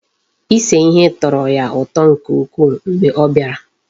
Ise ihe tọrọ ya ụtọ nke ukwuu mgbe ọ bịara.